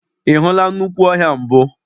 Ị hụla nnukwu ọhịa mbụ?